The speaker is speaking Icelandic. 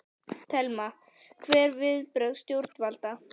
Telma: Hver eru viðbrögð stjórnvalda?